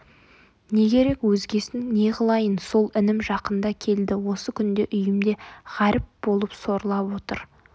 не керек өзгесін не қылайын сол інім жақында келді осы күнде үйімде ғаріп болып сорлап отыр